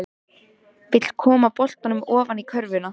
Hvernig verður umferðareftirlitinu háttað nú um helgina?